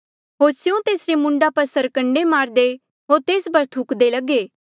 होर स्यों तेसरे मूंडा पर सरकंडे मारदे होर तेस पर थुकदे लगे